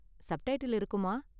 Subtitle இருக்குமா?